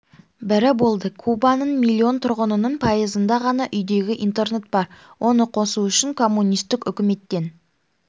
бірі болды кубаның млн тұрғынының пайызында ғана үйдегі интернет бар оны қосу үшін коммунистік үкіметтен